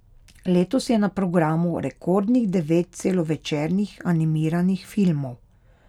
Letos je na programu rekordnih devet celovečernih animiranih filmov.